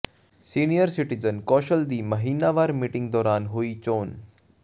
senior citizen council ਦੀ ਮਹੀਨਾਵਾਰ meeting ਦੌਰਾਨ ਹੋਈ ਚੋਣ